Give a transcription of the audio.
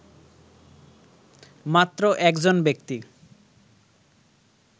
মাত্র একজন ব্যক্তি